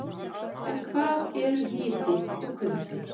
En hvað eru hiti og kuldi?